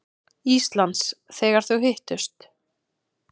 Íslands, þegar þau hittust.